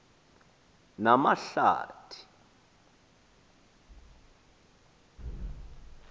namahlathi